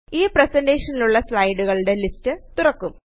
ഈ പ്രേസെന്റെഷനിലുള്ള സ്ലയടുകളുടെ ലിസ്റ്റ് തുറക്കും